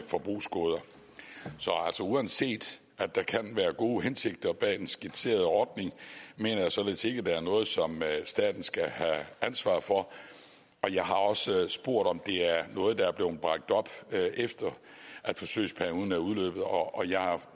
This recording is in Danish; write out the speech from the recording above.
forbrugsgoder så uanset at der kan være gode hensigter bag den skitserede ordning mener jeg således ikke at det er noget som staten skal have ansvar for jeg har også spurgt om det er noget der er blevet bragt op efter at forsøgsperioden er udløbet og jeg har